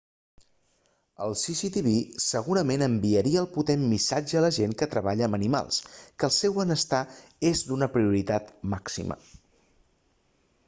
el cctv segurament enviaria el potent missatge a la gent que treballa amb animals que el seu benestar és d'una prioritat màxima